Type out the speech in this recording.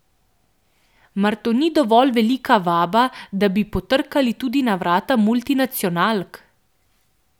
Mar to ni dovolj velika vaba, da bi potrkali tudi na vrata multinacionalk?